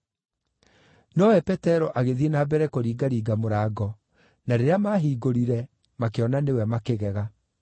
Nowe Petero agĩthiĩ na mbere kũringaringa mũrango, na rĩrĩa maahingũrire makĩona nĩwe, makĩgega.